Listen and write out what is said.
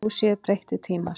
Nú séu breyttir tímar.